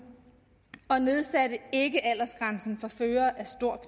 og man nedsatte ikke aldersgrænsen for førere af stor